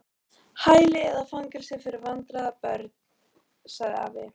Hæli eða fangelsi fyrir vandræða- börn sagði afi.